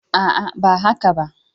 A'a, ba yi zafi ba.